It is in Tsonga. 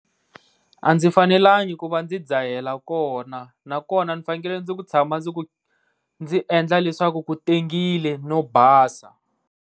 A ndzi fanelangi ku va ndzi dzahela kona, na kona ndzi fanenekele ku tshama ndzi ku ndzi endla leswaku ku tengile no basa.